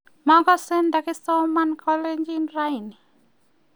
makase takisoman kalenjin raini